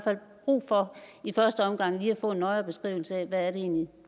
fald brug for i første omgang lige at få en nøjere beskrivelse af hvad det egentlig er